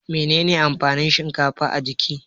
Menene amfanin shinkafa a jiki?